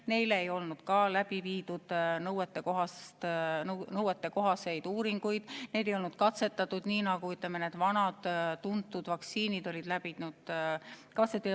Nende puhul ei olnud läbi viidud nõuetekohaseid uuringuid, neid ei olnud katsetatud nii, nagu on katsetatud vanu tuntud vaktsiine.